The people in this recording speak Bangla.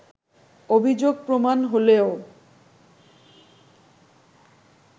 অভিযোগ প্রমাণ হলেও